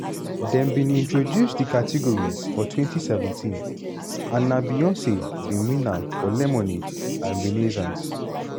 dem bin introduce di category for 2017 and na beyonce bin win am for lemonade and renaissance.